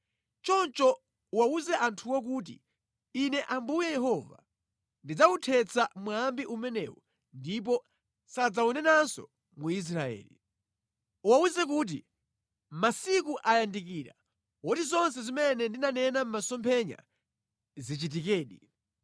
Choncho uwawuze anthuwo kuti, ‘Ine Ambuye Yehova ndidzawuthetsa mwambi umenewu ndipo sadzawunenanso mu Israeli.’ Uwawuze kuti, ‘masiku ayandikira oti zonse zimene ndinanena mʼmasomphenya zichitikedi.